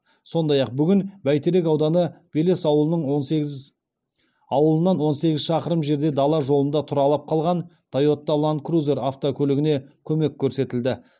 сондай ақ бүгін бәйтерек ауданы белес ауылының он сегіз ауылынан он сегіз шақырым жерде дала жолында тұралап қалған тойота ланд крузер автокөлігіне көмек көрсетілді